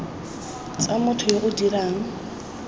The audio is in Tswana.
tsa motho yo o dirang